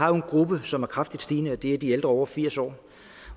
har jo en gruppe som er kraftigt stigende og det er de ældre over firs år